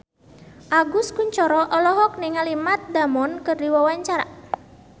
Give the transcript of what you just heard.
Agus Kuncoro olohok ningali Matt Damon keur diwawancara